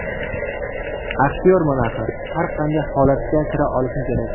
Aktyorman axir, har qanday holatga kira olishim kerak.